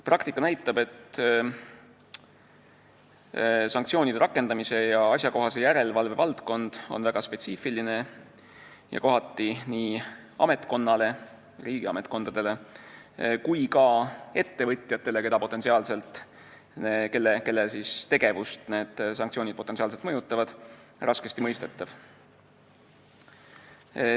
Praktika näitab, et sanktsioonide rakendamise ja asjakohase järelevalve valdkond on väga spetsiifiline ja kohati nii riigi ametkondadele kui ka ettevõtjatele, kelle tegevust need sanktsioonid potentsiaalselt mõjutavad, raskesti mõistetav.